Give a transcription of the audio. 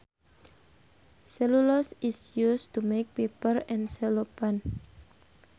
Cellulose is used to make paper and cellophane